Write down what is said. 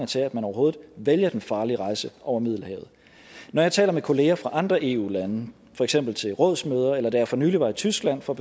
til at man overhovedet vælger den farlige rejse over middelhavet når jeg taler med kollegaer fra andre eu lande for eksempel til rådsmøder eller som da jeg for nylig var i tyskland for